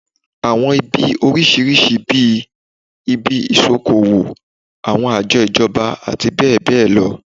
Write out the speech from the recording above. Àwọn ibi oríṣiríṣi bí i, ibi ìṣokoowò, àwọn àjọ ìjọba àti bẹ́ẹ̀ bẹ́ẹ̀ lọ